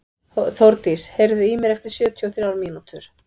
Þórdís, heyrðu í mér eftir sjötíu og þrjár mínútur.